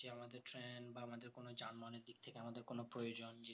তাদের কোনো প্রয়োজন নেই